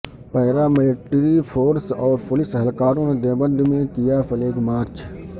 paramilitary force اور police اہلکاروں نے دیوبند میں کیا فلیگ مارچ